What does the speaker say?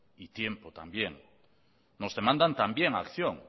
y tiempo también nos demandan también acción